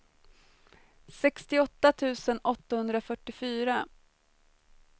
sextioåtta tusen åttahundrafyrtiofyra